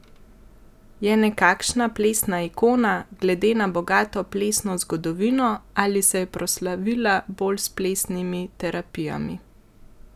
Je nekakšna plesna ikona, glede na bogato plesno zgodovino, ali se je proslavila bolj s plesnimi terapijami?